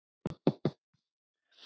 Já, svona var Sigga!